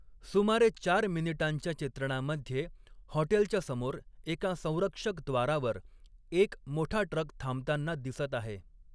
सुमारे चार मिनिटांच्या चित्रणामध्ये, हॉटेलच्या समोर एका संरक्षक द्वारावर एक मोठा ट्रक थांबताना दिसत आहे.